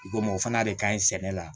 Komi o fana de ka ɲi sɛnɛ la